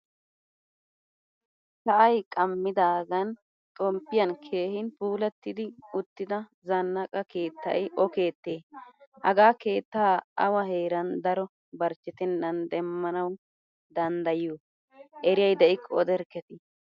Sa'ay qamidagan xomppiyan keehin puulattidi uttida zannaaqa keettay o keette? Hagaa keettaa awa heeran daro barchchettenan demmanawu danddayiyo? Eriyay de'iko oderkketi?